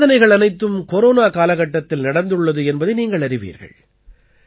இந்தச் சாதனைகள் அனைத்தும் கொரோனா காலகட்டத்தில் நடந்துள்ளது என்பதை நீங்கள் அறிவீர்கள்